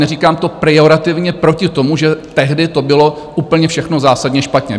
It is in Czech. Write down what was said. Neříkám to pejorativně proti tomu, že tehdy to bylo úplně všechno zásadně špatně.